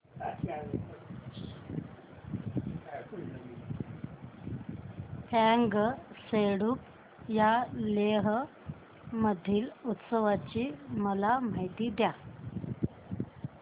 फ्यांग सेडुप या लेह मधील उत्सवाची मला माहिती द्या